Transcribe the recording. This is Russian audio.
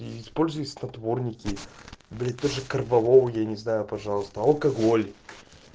используй снотворники блять даже корвалол я не знаю пожалуйста алкоголь